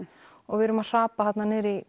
og við erum að hrapa þarna niður í